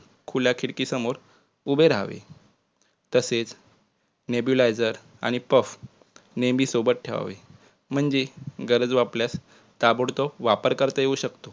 खुल्या खिडकी समोर उभे राहावे तसेच nebulizer आणि puff नेहमी सोबत ठेवावे म्हणजे गरज वाटल्यास ताबडतोब वापर करता येऊ शकतो